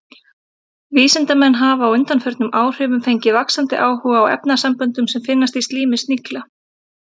Vísindamenn hafa á undanförnum áhrifum fengið vaxandi áhuga á efnasamböndum sem finnast í slími snigla.